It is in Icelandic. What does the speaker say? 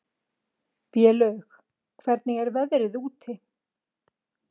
Vélaug, hvernig er veðrið úti?